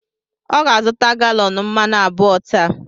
Ọ ga-azụta galọn mmanụ abụọ taa.